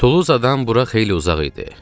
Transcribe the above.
Tuluzadan bura xeyli uzaq idi.